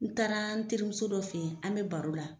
N taara n terimuso dɔ fɛ ye an bɛ baaro la.